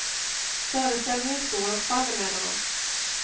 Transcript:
Föreställningen står och faller med honom.